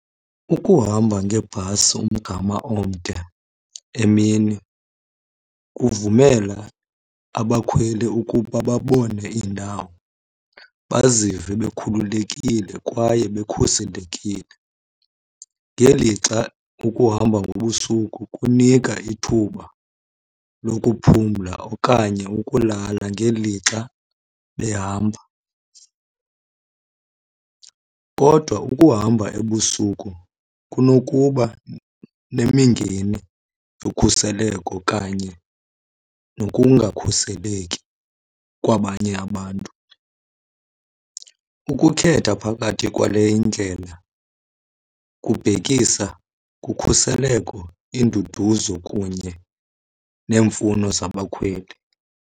Ukuhamba ngebhasi umgama omde emini kuvumela abakhweli ukuba babone iindawo, bazive bekhululekile kwaye bekhuselekile. Ngelixa ukuhamba ngobusuku kunika ithuba lokuphumla okanye ukulala ngelixa behamba. Kodwa ukuhamba ebusuku kunokuba nemingeni yokhuseleko kanye nokungakhuseleki kwabanye abantu. Ukukhetha phakathi kwale ndlela kubhekisa kukhuseleko, induduzo, kunye neemfuno zabakhweli.